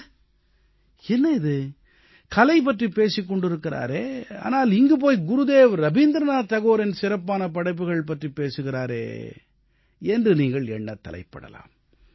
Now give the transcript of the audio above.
அட என்ன இது கலை பற்றிப் பேசிக் கொண்டிருக்கிறாரே ஆனால் இங்கு போய் குருதேவ் ரவீந்திரநாத் தாகூரின் சிறப்பான படைப்புக்கள் பற்றிப் பேசுகிறாரே என்று நீங்கள் எண்ண முற்படலாம்